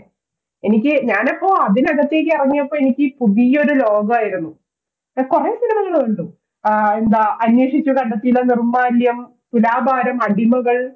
എനിക്ക് ഞാനപ്പോൾ അതിന്റെ അകത്തേക്ക് ഇറങ്ങിയപ്പോൾ എനിക്ക് പുതിയ ഒരു ലോകമായിരുന്നു. ഞാൻ കുറെ cinema കൾ കണ്ടു ആഹ് എന്താ, അന്വേഷിച്ച് കണ്ടെത്തിയിലോ, നിർമാല്യം, തുലാഭാരം, അടിമകൾ